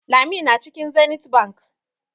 Lami na cikin Zenith Bank.